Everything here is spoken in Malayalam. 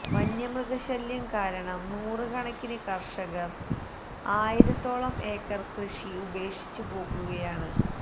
വന്യമൃഗശല്യം കാരണം നൂറുകണക്കിന് കര്ഷകര് ആയിരത്തോളം ഏക്കര് കൃഷി ഉപേക്ഷിച്ചു പോകുകയാണ്